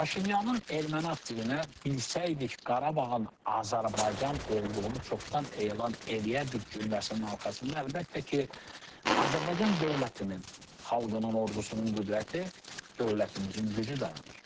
Paşinyanın erməni aktivinə "bilsəydik Qarabağın Azərbaycan olduğunu çoxdan elan eləyərdik" cümləsinin arxasında əlbəttə ki, Azərbaycan dövlətinin, xalqının, ordusunun qüdrəti, dövlətimizin gücü dayanır.